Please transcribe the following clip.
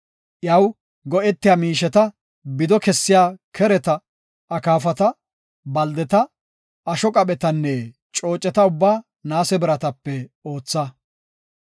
Iyaw go7etiya miisheta; bido kessiya kereta, akaafata, baldeta, asho qaphetanne cooceta ubbaa naase biratape ootha.